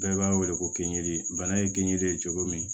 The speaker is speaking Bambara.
Bɛɛ b'a weele ko kinjiri bana ye kinji ye cogo min